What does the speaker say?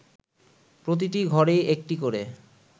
প্রতিটি ঘরেই একটি করে